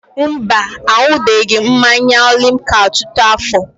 Mba, aṅụbeghị m mmanya limca ọtụtụ afọ.